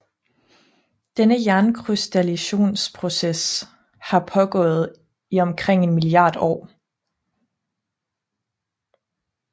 Denne jernkrystallisationsproces har pågået i omkring en milliard år